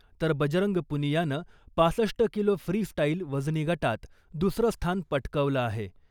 तर बजरंग पुनियानं पासष्ट किलो फ्री स्टाईल वजनी गटात दुसरं स्थान पटकवलं आहे .